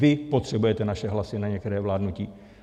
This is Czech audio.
Vy potřebujete naše hlasy na některé vládnutí.